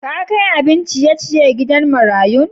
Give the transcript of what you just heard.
Ka kai abin ciye-ciyen gidan marayun?